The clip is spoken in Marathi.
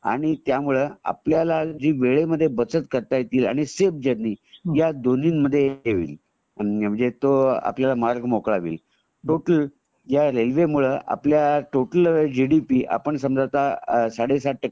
आणि त्यामुळे आपल्याला जी वेळेमध्ये बचत करता येतील आणि सेफ जरनी ह्या दोन्ही मध्ये हे होईल म्हणजे तो आपल्याला मार्ग मोकळा होईल . टोटल टोटल ह्या रेल्वे मुळे आपला जी डी पी आपण समजा तं संडे संत टक्के